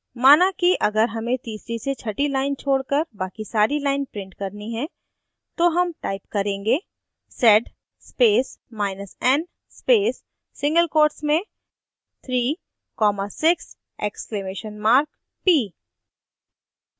माना कि अगर हमें तीसरी से छठी lines छोड़कर बाकी सारी lines print करनी हैं तो हम type करेंगे sed spacen space single quotes में 3 comma 6 exclamation mark ! p